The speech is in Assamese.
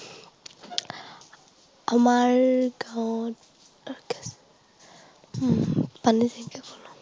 আমাৰ গাঁৱত উম পানী টেংকিও ক'লো।